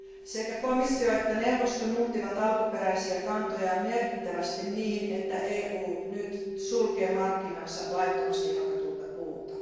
Sekä komissio että neuvosto muuttivat alkuperäisiä kantojaan merkittävästi, niin että EU nyt sulkee markkinansa laittomasti hakatulta puulta.